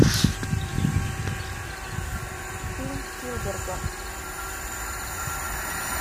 фильм спилберга